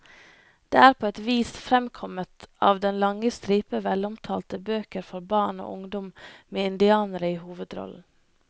Det er på et vis fremkommet av den lange stripe velomtalte bøker for barn og ungdom med indianere i hovedrollen.